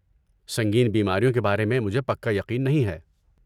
سنگین بیماریوں کے بارے میں مجھے پکا یقین نہیں ہے۔